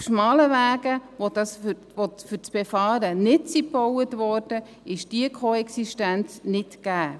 Auf schmalen Wegen, die nicht für das Befahren gebaut wurden, ist diese Koexistenz nicht gegeben.